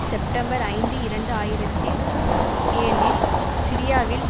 September ஐந்து இரண்டு ஆயிரத்தில் ஏழில் சிரியாவில்